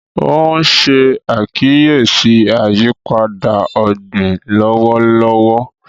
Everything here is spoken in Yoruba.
o n ṣe àkíyèsí ayípadà ogbin lọwọlọwọ